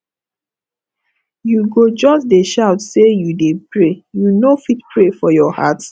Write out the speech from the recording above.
you go just dey shout sey you dey pray you no fit pray for your heart